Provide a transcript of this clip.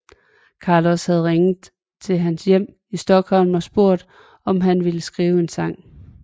Carlos havde ringet til hans hjem i Stockholm og spurgt om han ville skrive en sang